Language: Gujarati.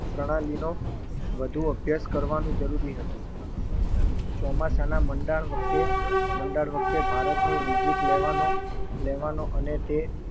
પ્રણાલીનો વધુ અભ્યાસ કરવાનું જરૂરી હતું ચોમાસાના મંડાણ વખતે મંડાણ વખતે ભારતની visit લેવાનો અને તે